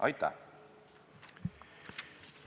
Aitäh!